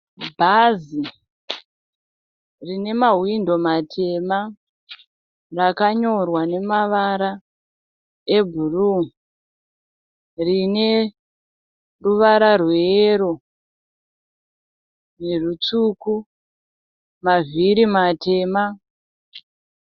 Bhazi rine mahwindo matema rakamyorwa nemavara ebhuru. Rine ruvara rweyero nerutsvuku. Mavhiri matema.